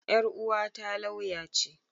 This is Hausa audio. Yar uwata lauya ce.